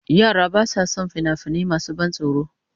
Yara ba sa son fina-finai masu ban tsoro.